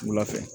Wula fɛ